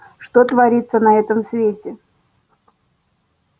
что творится на этом свете